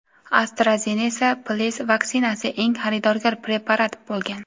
AstraZeneca Plc vaksinasi eng xaridorgir preparat bo‘lgan.